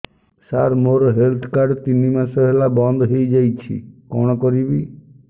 ସାର ମୋର health card ତିନି ମାସ ହେଲା ବନ୍ଦ ହେଇଯାଇଛି କଣ କରିବି